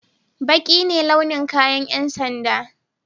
Baƙi ne launin kayan yan sanda.